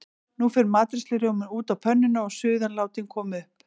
Nú fer matreiðslurjómi út á pönnuna og suðan látin koma upp.